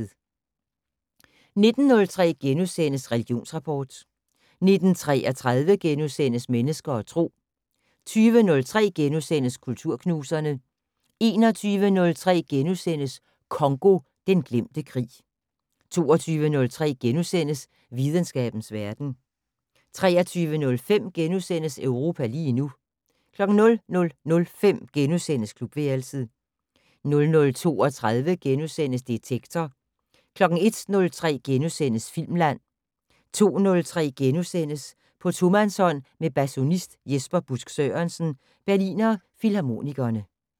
19:03: Religionsrapport * 19:33: Mennesker og Tro * 20:03: Kulturknuserne * 21:03: Congo - den glemte krig * 22:03: Videnskabens verden * 23:05: Europa lige nu * 00:05: Klubværelset * 00:32: Detektor * 01:03: Filmland * 02:03: På tomandshånd med basunist Jesper Busk Sørensen, Berliner Philharmonikerne *